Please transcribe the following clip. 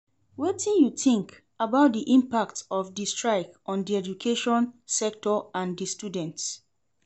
Wetin you think about di impact of di strike on di education sector and di students?